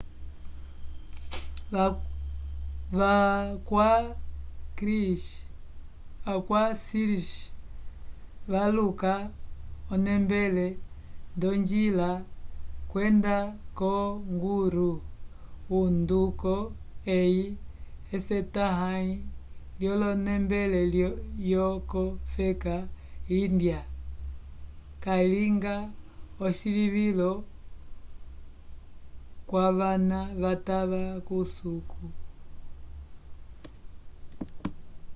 va kwa sikhs valuka onembele ndojila yenda ko guru o nduko ehi esetahay lyolonembele yoko feka índya yalinga ecilivilo vwavana vatava kusuku